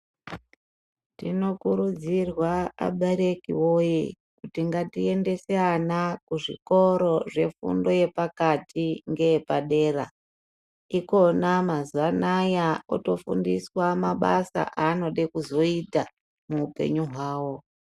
Tinokurudzirwa abereki woye kuti ngatiendese ana kuzvikoro zvefundo yepakati ngeyepadera, ikona mazuwa anaya kotofundiswa mabasa aanode kuzoyita muupenyu hwavo.